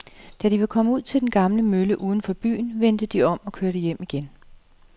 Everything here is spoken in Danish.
Da de var kommet ud til den gamle mølle uden for byen, vendte de om og kørte hjem igen.